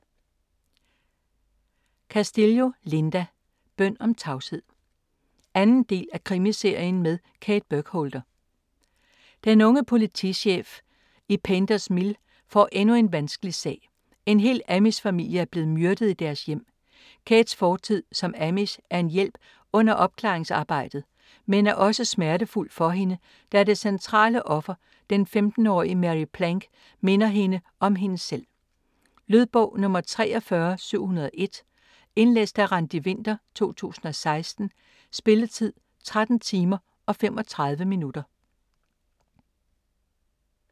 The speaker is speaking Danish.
Castillo, Linda: Bøn om tavshed 2. del af Krimiserien med Kate Burkholder. Den unge politichef Kate Burkholder i Painters Mill får endnu en vanskelig sag: En hel amish familie er blevet myrdet i deres hjem. Kates fortid som amish er en hjælp under opklaringsarbejdet, men er også smertefuld for hende, da det centrale offer, den 15-årige Mary Plank, minder hende om hende selv. Lydbog 43701 Indlæst af Randi Winther, 2016. Spilletid: 13 timer, 35 minutter.